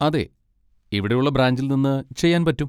അതെ, ഇവിടെയുള്ള ബ്രാഞ്ചിൽ നിന്ന് ചെയ്യാൻ പറ്റും.